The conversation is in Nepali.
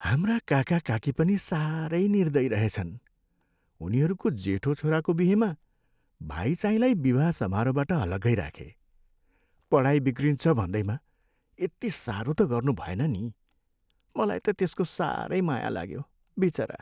हाम्रा काकाकाकी पनि साह्रै निर्दयी रहेछन्। उनीहरूको जेठो छोराको बिहेमा भाइचाहिँलाई विवाह समारोहबाट अलग्गै राखे। पढाई बिग्रिन्छ भन्दैमा यति साह्रो त गर्नुभएन नि! मलाई त त्यसको साह्रै माया लाग्यो। बिचरा!